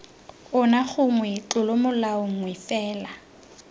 ona gongwe tlolomolao nngwe fela